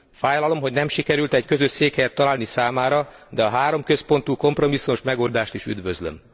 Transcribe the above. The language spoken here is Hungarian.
Fájlalom, hogy nem sikerült egy közös székhelyet találni számára, de a háromközpontú kompromisszumos megoldást is üdvözlöm.